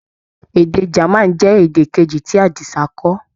Èdè German jẹ́ èdè Kejì tí Àdìsá kọ́.